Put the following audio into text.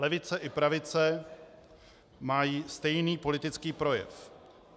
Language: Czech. Levice i pravice mají stejný politický projev.